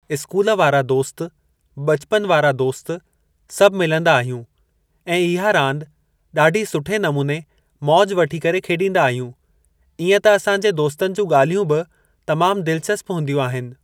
School वारा दोस्त ब॒चपनु वारा दोस्त सभु मिलंदा आहियूं ऐ इहा रांदि ॾाढी सुठे नमूने मौज वठी करे खेॾींदा आहियूं ईअं त असांजे दोस्तनि जूं ॻाल्हियूं बि तमाम दिलचस्प हूंदियूं आहिनि।